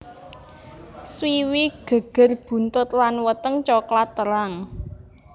Swiwi geger buntut lan weteng coklat terang